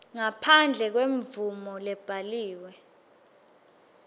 ngaphandle kwemvumo lebhaliwe